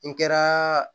N kɛra